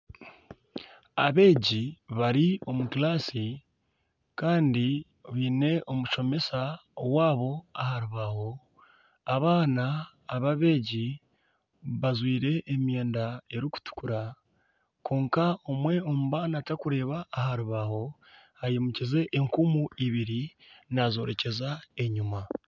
Abeegi bari omu kibiina kandi baine omushomesa waabo aha rubaho, abaana abeegi bajwire emyenda erikutukura kwonka omwe omu baana tarikureeba aha rubaho, aimukize enkumu ibiri naazorekyeza enyima